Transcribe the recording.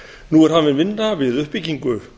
nú er hafin vinna við uppbyggingu